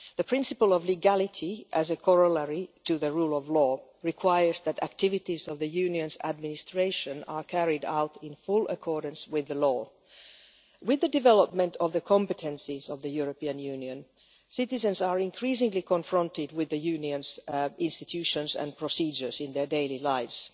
The principle of legality, as a corollary to the rule of law, requires that activities of the Union's administration are carried out in full accordance with the law. With the development of the competencies of the European Union, citizens are increasingly confronted with the Union's institutions and procedures in their daily lives.